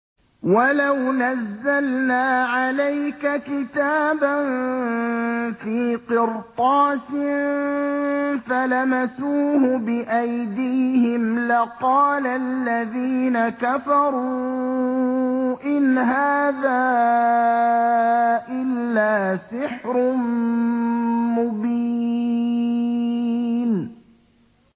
وَلَوْ نَزَّلْنَا عَلَيْكَ كِتَابًا فِي قِرْطَاسٍ فَلَمَسُوهُ بِأَيْدِيهِمْ لَقَالَ الَّذِينَ كَفَرُوا إِنْ هَٰذَا إِلَّا سِحْرٌ مُّبِينٌ